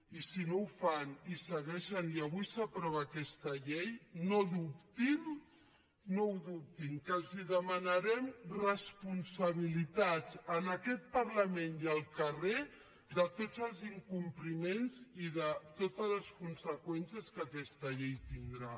i si no ho fan i avui s’aprova aquesta llei no dubtin no ho dubtin que els demanarem responsabilitats en aquest parlament i al carrer de tots els incompliments i de totes les conseqüències que aquesta llei tindrà